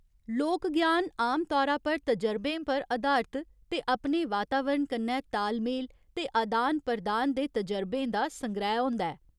लोक ज्ञान आम तौरा पर तजरबें पर अधारत ते अपने वातावरण कन्नै ताल मेल ते अदान प्रदान दे तजरबें दा संग्रैह् होंदा ऐ।